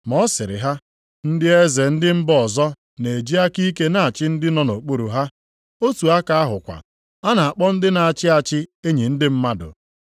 Ma ọ sịrị ha, “Ndị eze ndị mba ọzọ na-eji aka ike na-achị ndị nọ nʼokpuru ha. Otu aka ahụkwa, a na-akpọ ndị na-achị achị enyi ndị mmadụ.